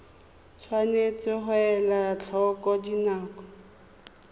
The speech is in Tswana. tshwanetse ga elwa tlhoko dinako